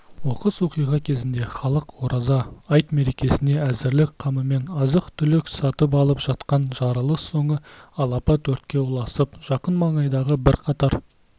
оқыс оқиға кезінде халық ораза айт мерекесіне әзірлік қамымен азық-түлік сатып алып жатқан жарылыс соңы алапат өртке ұласып жақын маңайдағы бірқатар